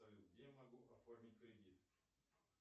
салют где я могу оформить кредит